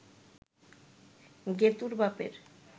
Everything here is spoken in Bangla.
গেতুঁর বাপের